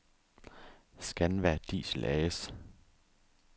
Scanva Diesel A/S